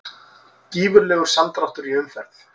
Gífurlegur samdráttur í umferð